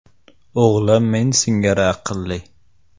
O‘g‘lim men singari aqlli.